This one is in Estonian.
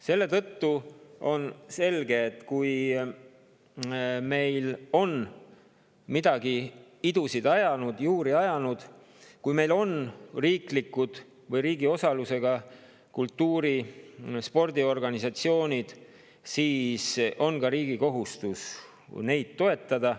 Selle tõttu on selge, et kui meil on midagi idusid või juuri ajanud, kui meil on riiklikud või riigi osalusega kultuuri‑ ja spordiorganisatsioonid, siis on riigil ka kohustus neid toetada.